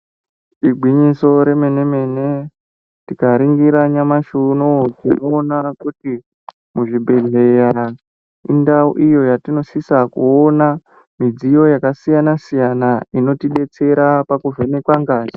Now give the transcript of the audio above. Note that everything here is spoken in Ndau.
Igwinyiso remene mene tinoningira nyamashi unou tinoona kuti muzvibhedhlera indau iyo yatinosisa kuona midziyo yakasiyana siyana inotidetsera pakuvhenekwa ngazi.